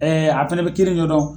a fɛnɛ bɛ kiiri ɲɔdɔn.